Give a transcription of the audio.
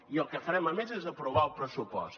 i el que farem a més és aprovar el pressupost